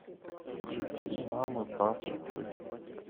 включи мамы папы тети